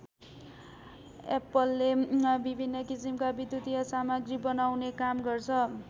एप्पलले विभिन्न किसिमका विद्युतिय सामग्री बनाउने काम गर्छ।